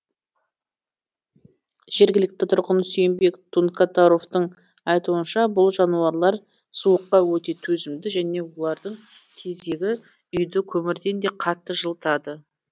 жергілікті тұрғын сүйінбек тункатаровтың айтуынша бұл жануарлар суыққа өте төзімді және олардың тезегі үйді көмірден де қатты жылытады